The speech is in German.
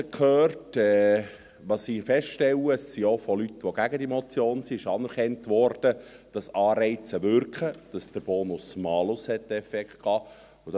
Was ich feststelle, ist, dass auch von Leuten, die gegen diese Motion sind, anerkannt wurde, dass Anreize wirken, dass der Bonus-Malus einen Effekt hatte.